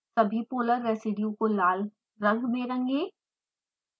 सभी polar residues को लाल रंग में रंगें